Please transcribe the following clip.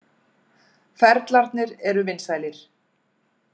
Ferlarnir eru vinsælir.